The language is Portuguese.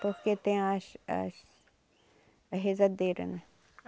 Porque tem as... as... as rezadeira, né?